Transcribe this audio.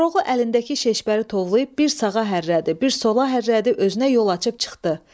Koroğlu əlindəki Şeşpəri tovlayıb bir sağa hərrədi, bir sola hərrədi, özünə yol açıb çıxdı.